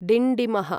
डिण्डिमः